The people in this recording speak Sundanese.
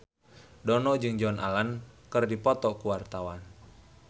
Dono jeung Joan Allen keur dipoto ku wartawan